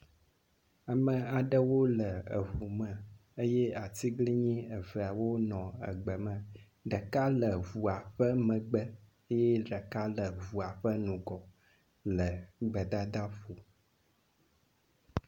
Ame aɖewo le eŋu me eye atiglinyi eveawo le egbe me. Ɖeka le ŋua ƒe megbe eye ɖekal le ŋua ƒe ŋgɔ le gbedadaƒo.